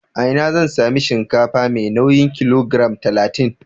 A ina zan sami shinkafa mai nauyin kilogiram talatin?